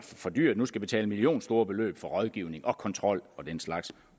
for dyrt nu skal betale millionstore beløb for rådgivning og kontrol og den slags